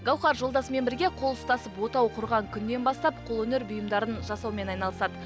гауһар жолдасымен бірге қол ұстасып отау құрған күннен бастап қолөнер бұйымдарын жасаумен айналысады